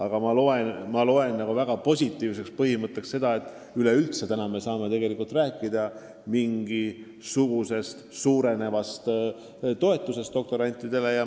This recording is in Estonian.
Samas on minu meelest väga positiivne, et me üleüldse praegu saame rääkida suurenevast doktoranditoetusest.